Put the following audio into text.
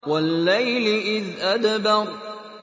وَاللَّيْلِ إِذْ أَدْبَرَ